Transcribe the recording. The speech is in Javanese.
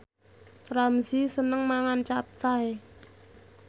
Ramzy seneng mangan capcay